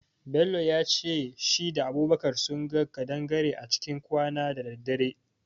Bello yace shi da Abubakar sunga kadangare a cikin kwana da daddare.